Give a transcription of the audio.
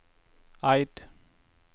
Eid